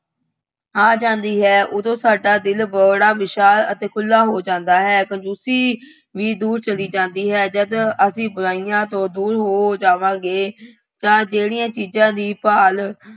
ਆ ਜਾਂਦੀ ਹੈ। ਉਦੋਂ ਸਾਡਾ ਦਿਲ ਬੜਾ ਵਿਸ਼ਾਲ ਅਤੇ ਖੁੱਲ੍ਹਾ ਹੋ ਜਾਂਦਾ ਹੈ। ਕੰਜ਼ੂਸੀ ਵੀ ਦੂਰ ਚਲੀ ਜਾਂਦੀ ਹੈ। ਜਦ ਅਸੀਂ ਬੁਰਾਈਆਂ ਤੋਂ ਦੂਰ ਹੋ ਜਾਵਾਂਗੇ ਤਾਂ ਜਿਹੜੀਆਂ ਚੀਜ਼ਾਂ ਦੀ ਭਾਲ